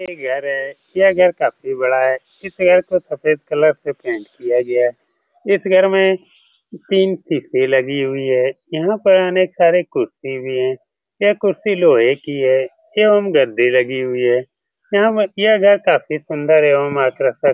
एक घर है यह घर काफी बड़ा है इस घर को सफेद कलर से पेंट किया गया है इस घर में तीन लगी हुई है यहाँ पर अनेक सारे कुर्सी भी हैं ये कुर्सी लोहे की है यह एंव गद्दे लगी हुई है यहाँ हम घर काफी सुन्दर एवं आकर्षक --